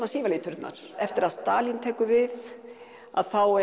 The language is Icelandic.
sívalir turnar eftir að Stalín tekur við þá